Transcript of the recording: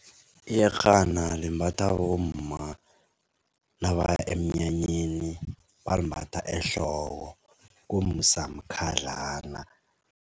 Iyerhana limbathwa bomma nabaya emnyanyeni balimbatha ehloko kumsamkhadlana.